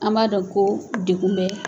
An m'a dɔn ko degun bɛ